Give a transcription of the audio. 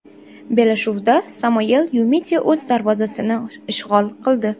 Bellashuvda Samuel Yumiti o‘z darvozasini ishg‘ol qildi.